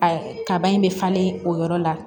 A kaba in bɛ falen o yɔrɔ la